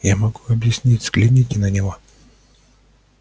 я могу объяснить взгляните на него